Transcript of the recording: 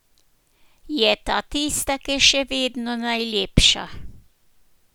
Je ta tista, ki je še vedno najlepša?